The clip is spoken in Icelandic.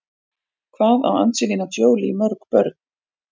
Hvað á Angelina Jolie mörg börn?